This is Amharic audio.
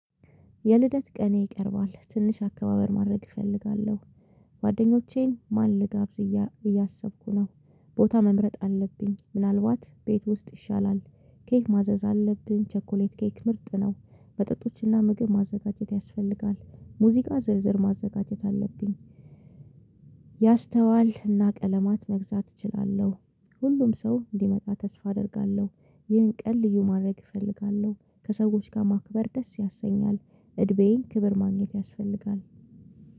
የልደት ቀኔ ይቀርባል ትንሽ አከባበር ማድረግ እፈልጋለሁ። ጓደኞቼን ማን ልጋብዝ እያሰብኩኝ ነው። ቦታ መምረጥ አለብኝ ምናልባት ቤት ውስጥ ይሻላል። ኬክ ማዘዝ አለብኝ ቸኮሌት ኬክ ምርጥ ነው። መጠጦችና ምግብ ማዘጋጀት ያስፈልጋል። ሙዚቃ ዝርዝር ማዘጋጀት አለብኝ። ያስተዋልና ቀለማት መግዛት እችላለሁ። ሁሉም ሰው እንዲመጣ ተስፋ አደርጋለሁ። ይህን ቀን ልዩ ማድረግ እፈልጋለሁ ከሰዎች ጋር ማክበር ደስ ያሰኛል። እድሜዬን ክብር ማግኘት ያስፈልጋል።